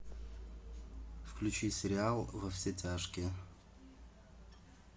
включи сериал во все тяжкие